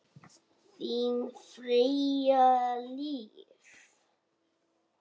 Þín Freyja Líf.